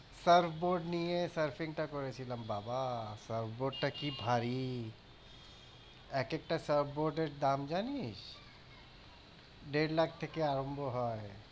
surf board নিয়ে surfing টা করেছিলাম বাবা surf board টা কি ভারী। একেকটা surf board এর দাম জানিস? দের লাখ থেকে আরম্ভ হয়।